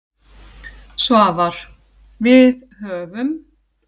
Svavar: Við höfum.